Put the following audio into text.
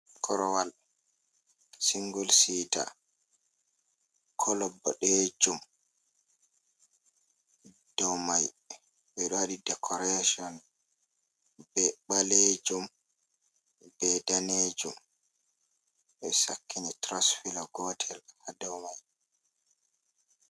Korowal singul sita colo boɗejum, dow mai ɓeɗo waɗi dekorashun be ɓalejum, be danejum, ɓe sakkini tu rusfelo gotel ha dow mai.